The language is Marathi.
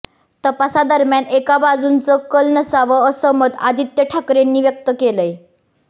तपासादरम्यान एका बाजूनचं कल नसावा असं मत आदित्य ठाकरेंनी व्यक्त केलंय